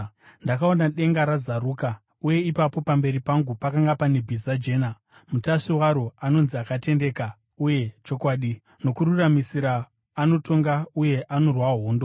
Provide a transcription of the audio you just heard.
Ndakaona denga razaruka uye ipapo pamberi pangu pakanga pane bhiza jena, mutasvi waro anonzi Akatendeka uye Chokwadi. Nokururamisira anotonga uye anorwa hondo.